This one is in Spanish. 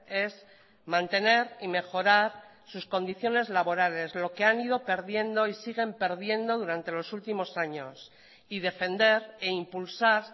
es mantener y mejorar sus condiciones laborales lo que han ido perdiendo y siguen perdiendo durante los últimos años y defender e impulsar